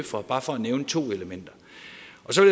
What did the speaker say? fra bare for at nævne to elementer